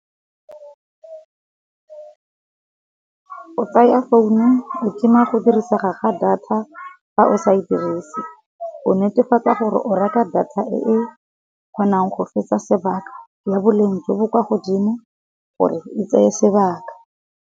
O tsaya founu o tima go dirisega ga data fa o sa e dirise, o netefatsa gore o reka data e kgonang go fetsa sebaka, ya boleng jo bo kwa godimo gore e tseye sebaka.